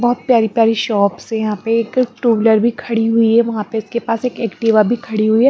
बहुत प्यारी-प्यारी शॉप्स है यहाँ पे एक टुबलर भी खड़ी हुई है वहाँ पे उसके पास एक एक्टिवा भी खड़ी हुई है।